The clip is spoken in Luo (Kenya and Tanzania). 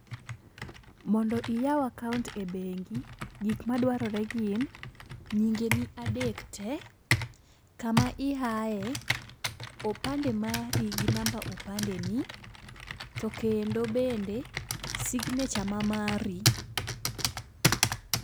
Mondo iyaw akaunt e bengi gik madwarore gin: nyinge ni adek tee, kama iaye, opande mari gi namba opande ni, to kendo bende signature ma mari.